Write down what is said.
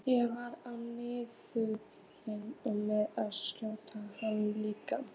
Ég var á nippinu með að skjóta hana líka.